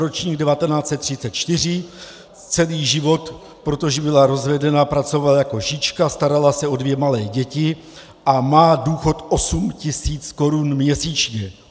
Ročník 1934, celý život, protože byla rozvedená, pracovala jako šička, starala se o dvě malé děti a má důchod 8 tisíc korun měsíčně.